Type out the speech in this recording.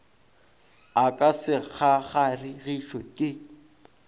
a ka se kgakgaregišwe ke